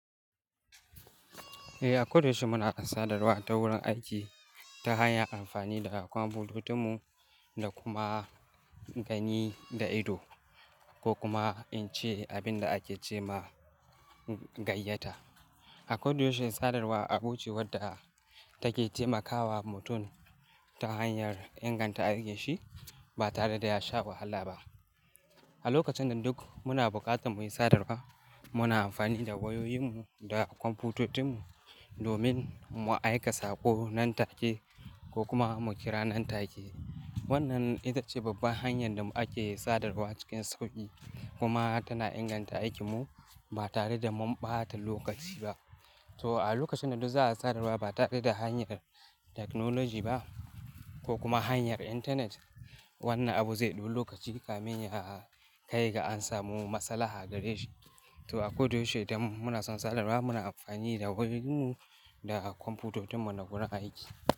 Eh, a ko da yaushe muna sadarwa ta wurin aiki ta hanyar amfani da kwamfutocinmu da kuma gani da ido ko kuma in ce abin da ake ce ma gayyata. A ko da yaushe sadarwa abu ce wadda take taimakawa mutum ta hanyar inganta aikinshi ba tare da ya sha wahala ba. A lokacin nan duk muna buƙatar mu yi sadarwa muna amfani da wayoyinmu da kwamfutocinmu domin mu aika sako nan take ko kuma mu kira nan take. Wannan ita ce babban hanyar da ake sadarwa cikin sauƙi kuma tana inganta aikinmu ba tare da mu ɓata lokaci ba. To a lokacin nan duk za a sadarwa ba tare da hanyar technology ba ko kuma hanyar internet wannan abu zai ɗau lokaci kamin ya kai ga an samu maslahar gare shi. To a ko da yaushe idan muna son sadarwa muna amfani da wayoyinmu da kwamfutocinmu na wurin aiki.